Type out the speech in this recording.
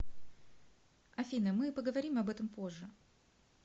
афина мы поговорим об этом позже